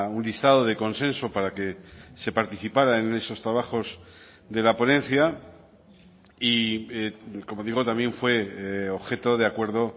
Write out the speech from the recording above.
un listado de consenso para que se participara en esos trabajos de la ponencia y como digo también fue objeto de acuerdo